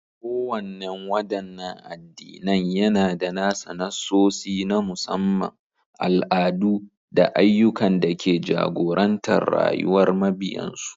Kowannen wadannan addinan yAna da nasa nassosi na musamman, al'adu, da ayyukan da ke jagorantar rayuwar mabiyansu